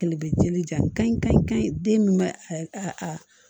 Kɛlɛ bɛ dili jan kan ye den min bɛ a